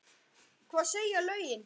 Hvað segja lögin?